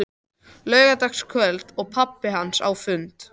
Laugardagskvöld og pabbi hans á fundi.